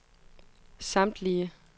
samtlige